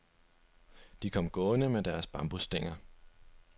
De kom gående med deres bambusstænger.